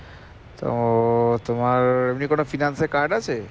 তো তোমার এমনি কোনো finance এর card আছে?